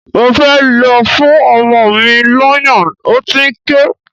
Mo fẹ́ lọ fún ọmọ mi lọ́yàn, ó ti ń ké.